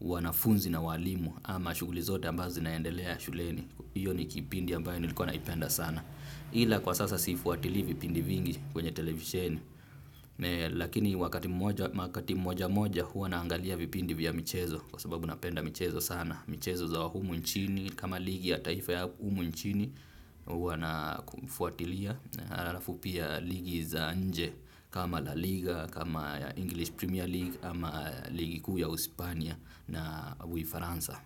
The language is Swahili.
wanafunzi na waalimu ama shughuli zote ambazo zinaendelea shuleni. Iyo ni kipindi ambayo nilikuwa naipenda sana. Ila kwa sasa siifuatili vipindi vingi kwenye televisheni. Lakini wakati mmoja moja huwa naangalia vipindi vya michezo kwa sababu napenda michezo sana. Michezo za humu nchini kama ligi ya taifa ya umu nchini huwa na kufuatilia arafu pia ligi za nje kama la liga kama English Premier League Ama ligi kuu ya usipania na uifaransa.